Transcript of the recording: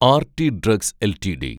RT drugs LTD